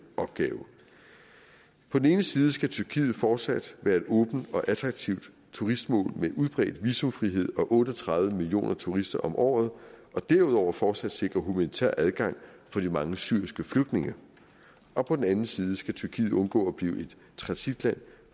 opgave på den ene side skal tyrkiet fortsat være et åbent og attraktivt turistmål med udbredt visumfrihed og otte og tredive millioner turister om året og derudover fortsat sikre humanitær adgang for de mange syriske flygtninge og på den anden side skal tyrkiet undgå at blive et transitland